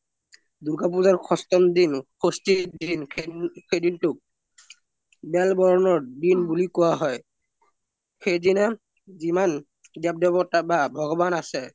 দুৰ্গা পুজাৰ সাস্থম দিন সস্থিৰ দিন সৈদিন তুক বেলবৰনৰ দিন বুলি কুৱা হৈ সৈদিনা দেৱ দেৱতা বা ভগৱান আছে